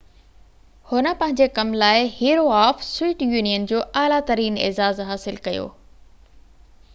هن پنهنجي ڪم لاءِ، هيرو آف سويئيٽ يونين جو اعليٰ ترين اعزاز حاصل ڪيو